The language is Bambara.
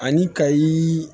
Ani ka i